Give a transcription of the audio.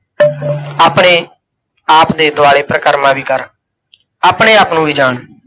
ਆਪਣੇ ਆਪ ਦੇ ਦੁਆਲੇ ਪਰਿਕਰਮਾ ਵੀ ਕਰ, ਆਪਣੇ ਆਪ ਨੂੰ ਵੀ ਜਾਣ।